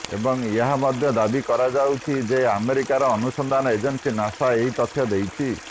ଏବଂ ଏହା ମଧ୍ୟ ଦାବି କରାଯାଉଛି ଯେ ଆମେରିକାର ଅନୁସନ୍ଧାନ ଏଜେନ୍ସି ନାସା ଏହି ତଥ୍ୟ ଦେଇଛି